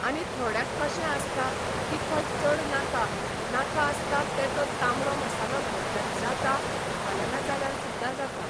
आनी थोड्यांक कशें आसता तिखट चड नाका नाका आसता ते तो तांबडो मसालो घातल्यार जाता घालना जाल्यार सुद्दां जाता